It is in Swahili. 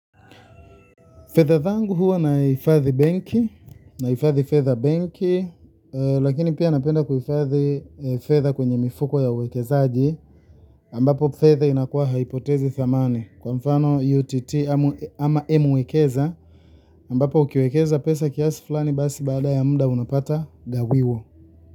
Fedha zangu huwa nahifadhi benki, nahifadhi fedha benki, lakini pia napenda kuhifadhi fedha kwenye mifuko ya uwekezaji ambapo fedha inakuwa haipotezi thamani. Kwa mfano UTT ama M-Wekeza ambapo ukiwekeza pesa kiasi fulani basi baada ya muda unapata gawiwo.